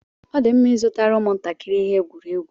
Ọ dị mma ịzụtara ụmụ ntakịrị ihe egwuregwu.